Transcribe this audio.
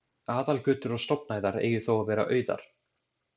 Aðalgötur og stofnæðar eigi þó að vera auðar.